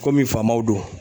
faamaw don.